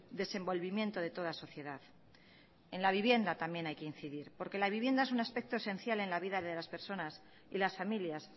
desenvolvimiento de toda sociedad en la vivienda también hay que incidir porque la vivienda es un aspecto esencial en la vida de las personas y las familias